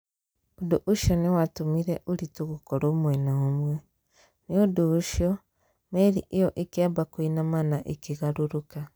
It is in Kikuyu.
Ũndũ ũcio nĩ watũmire ũritũ gokorwo mwena ũmwe . Nũ ũndũ ucio meri ĩyo ĩkiambia kũinama na ĩkigarũrũka.